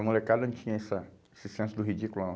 A molecada não tinha essa esse senso do ridículo, não.